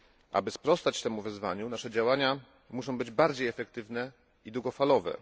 Aby sprostać temu wyzwaniu, nasze działania muszą być bardziej efektywne i długofalowe.